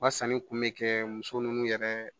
U ka sanni kun bɛ kɛ muso ninnu yɛrɛ